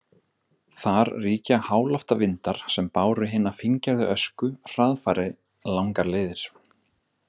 Þar ríkja háloftavindar sem báru hina fíngerðu ösku hraðfari langar leiðir.